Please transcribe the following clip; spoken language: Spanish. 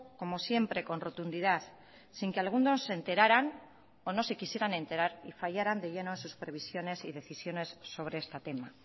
como siempre con rotundidad sin que algunos se enteraran o no se quisieran enterar y fallaran de lleno en sus previsiones y decisiones sobre este tema